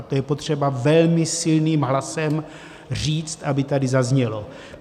A to je potřeba velmi silným hlasem říct, aby tady zaznělo.